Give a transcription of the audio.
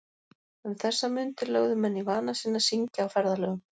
Um þessar mundir lögðu menn í vana sinn að syngja á ferðalögum.